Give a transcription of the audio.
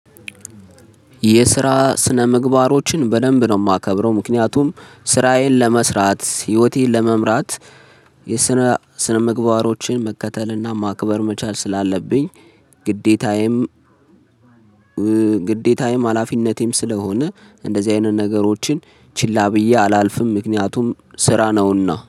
የስራ ስነምግባሮችን በደንብ ነው የማከብረው ምክንያቱም ስራዬን ለመስራት ህይወቴን ለመምራት። የስነ ስነምግባሮችን መከተልና ማክበር መቻል ስላለብኝ። ግዴታዬም። ግዴታዬም ሀላፊነቴም ስለሆነ እንደዚህ አይነት ነገሮችን ችላ ብዬ አላልፍም ምክንያቱም ስራ ነውና